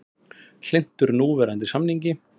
Hlynntur núverandi samningi